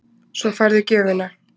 Svo færðu gjöfina.